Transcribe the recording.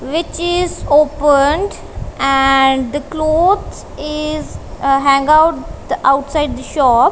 which is opened and the clothes is hang out outside the shop.